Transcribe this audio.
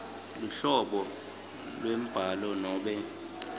luhlobo lwembhalo nobe